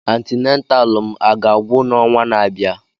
Antinataalụ m aga-agwụ n'ọnwa na-abịa?